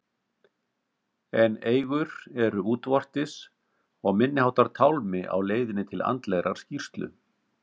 En eigur eru útvortis og minniháttar tálmi á leiðinni til andlegrar skírslu.